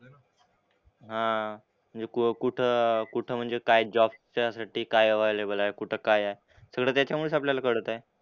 हां. नि को कुठं कुठं म्हणजे काय जॉबच्या साठी काय अव्हेलेबल आहे, कुठं काय आहे सगळं त्याच्यामुळेच आपल्याला कळतंय.